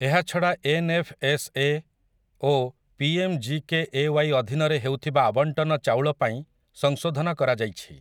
ଏହାଛଡା ଏନ୍.ଏଫ୍.ଏସ୍.ଏ. ଓ ପି.ଏମ୍‌.ଜି.କେ.ଏ.ୱାଇ. ଅଧୀନରେ ହେଉଥିବା ଆବଣ୍ଟନ ଚାଉଳ ପାଇଁ ସଂଶୋଧନ କରାଯାଇଛି ।